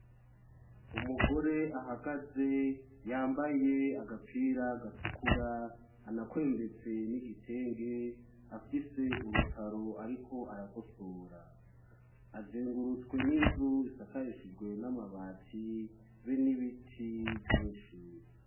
Umugore ahagaze yambaye agapira gatukura anakwembetse n'igitenge afise urutaro ariko aragosora, azengurutswe n'inzu isakarishijwe n'amabati be n'ibiti vyinshi.